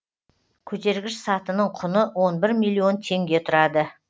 көтергіш сатының құны он бір милллион теңге тұрады